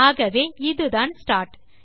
ஆகவே இதுதான் ஸ்டார்ட்